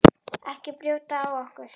Ekki brjóta á okkur.